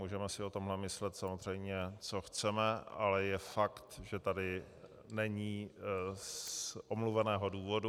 Můžeme si o tom myslet samozřejmě, co chceme, ale je fakt, že tady není z omluveného důvodu.